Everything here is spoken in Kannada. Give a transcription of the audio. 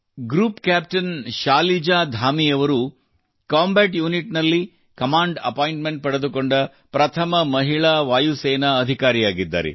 ಗ್ರೂಪ್ ಕ್ಯಾಪ್ಟನ್ ಶಾಲಿಜಾಧಾಮಿ ಅವರು ಕಾಂಬಾಟ್ ಯುನಿಟ್ ನಲ್ಲಿ ಕಮಾಂಡ್ ಅಪಾಯಿಂಟ್ಮೆಂಟ್ ಪಡೆದುಕೊಂಡ ಪ್ರಥಮ ಮಹಿಳಾ ವಾಯುಸೇನಾ ಅಧಿಕಾರಿಯಾಗಿದ್ದಾರೆ